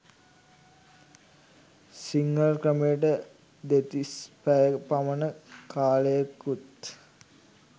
සිංහල ක්‍රමයට දෙතිස් පැයක පමණ කාලයකුත්